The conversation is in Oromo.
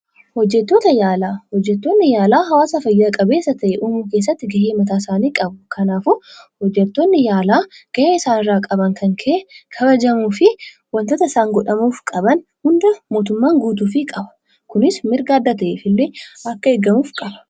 Hojjettoota yaalaa: Hojjettoonni yaalaa hawaasa fayyaa-qabeessa ta'e uumuu keessatti ga'ee mataa isaanii qabu. Kanaafuu hojjettoonni yaalaa ga'ee isaan irraa qaban kan ka'e, kabajamuu fi wantoota isaan godhamuuf qaban hunda mootummaan guutuufi qaba. Kunis mirga adda ta'eef illee akka eegamuuf qaba.